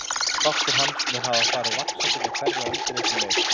Þáttur hans mun hafa farið vaxandi með hverri öldinni sem leið.